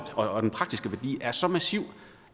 og den praktiske værdi er så massiv